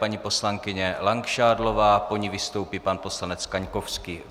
Paní poslankyně Langšádlová, po ní vystoupí pan poslanec Kaňkovský.